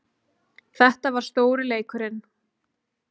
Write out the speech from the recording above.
Þetta var stóri leikurinn